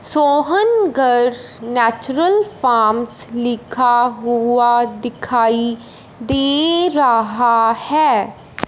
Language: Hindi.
सोहन गर्ल्स नेचुरल फार्म्स लिखा हुआ दिखाई दे रहा है।